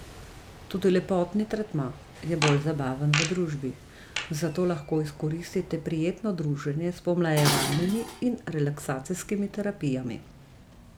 Tudi lepotni tretma je bolj zabaven v družbi, zato lahko izkoristite prijetno druženje s pomlajevalnimi in relaksacijskimi terapijami.